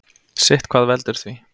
Sitthvað veldur því.